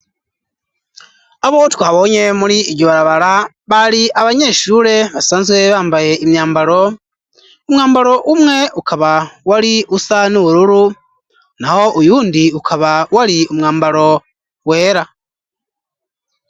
Abo twabonye muri iryo barabara, bari abanyeshuri basanzwe bambaye imyambaro, umwambalo umwe ukaba wari usa n'ubururu ,naho uwundi ukaba wari umwambaro wera.